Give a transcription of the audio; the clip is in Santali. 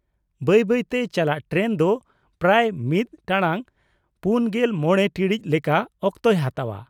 ᱵᱟᱹᱭ ᱵᱟᱹᱭ ᱛᱮ ᱪᱟᱞᱟᱜ ᱴᱨᱮᱱ ᱫᱚ ᱯᱨᱟᱭ ᱢᱤᱫ ᱴᱟᱲᱟᱝ ᱔᱕ ᱴᱤᱲᱤᱡ ᱞᱮᱠᱟ ᱚᱠᱛᱚᱭ ᱦᱟᱛᱟᱣᱟ ᱾